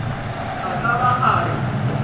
a ka ba a re